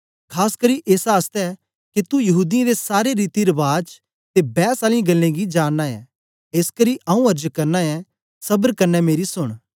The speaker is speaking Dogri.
खास करी एस आसतै के तू यहूदीयें दे सारे रीति रबाज ते बैस आलियें गल्लें गी जानना ऐ एसकरी आंऊँ अर्ज करना ऐ सबर कन्ने मेरी सोन